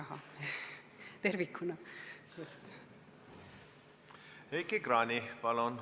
Heiki Kranich, palun!